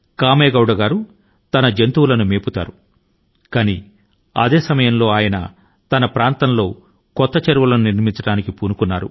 అవి గడ్డి ని తింటున్నప్పడు ఆ ప్రాంతం లో కొత్త చెరువుల ను నిర్మించేందుకు ఆయన పూనుకున్నారు